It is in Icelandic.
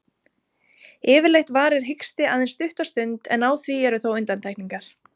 Yfirleitt varir hiksti aðeins stutta stund, en á því eru þó undantekningar.